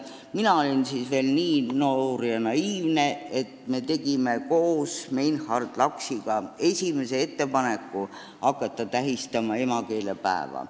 Mina olin siis veel noor ja naiivne ning me tegime koos Meinhard Laksiga esimese ettepaneku hakata tähistama emakeelepäeva.